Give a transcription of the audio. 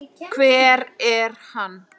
hver er hann?